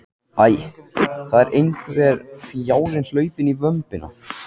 Æ, það er einhver fjárinn hlaupinn í vömbina.